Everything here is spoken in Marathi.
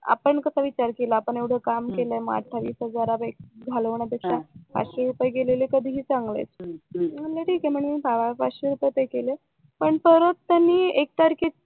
आपण कसा विचार केला आपण एवढकाम केलाय मग अठ्ठावीस हजार घालवण्यापेक्षा पाचशे रुपये गेलेले कधीही चांगलं आहे म्हणून म्हंटल ठीक आहे म्हणून पाचशे रुपये पे केले पण परत त्यांनी एक तारखेच्या